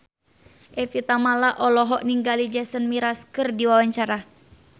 Evie Tamala olohok ningali Jason Mraz keur diwawancara